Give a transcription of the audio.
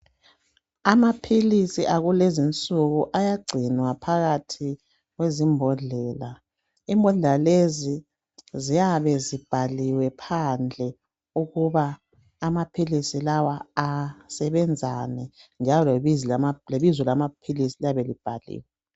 Amaphilisi akulezi nsuku ayagcinwa phakathi kwezimbodlela imbodlela lezi ziyabe zibhaliwe phandle ukuba amaphilisi lawa asebenzani njalo lebizo lamaphilisi liyabe libhaliwe.